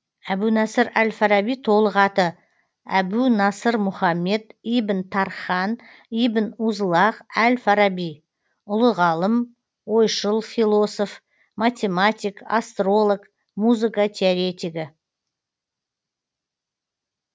әбу насыр әл фараби толық аты әбу насыр мұхаммад ибн тархан ибн узлағ әл фараби ұлы ғалым ойшыл философ математик астролог музыка теоретигі